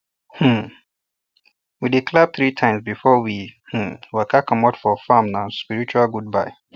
um we dey clap three times before we um waka comot farm na spiritual goodbye